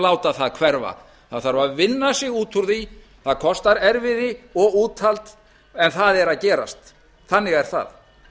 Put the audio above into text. láta það hverfa það þarf að vinna sig út úr því það kostar erfiði og úthald en það er að gerast þannig er það